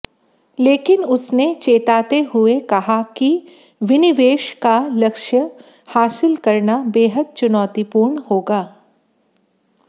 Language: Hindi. लेकिन उसने चेताते हुए कहा कि विनिवेश का लक्ष्य हासिल करना बेहद चुनौतीपूर्ण होगा